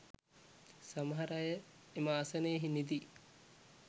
සමහර අය එම ආසනයේ නිදි.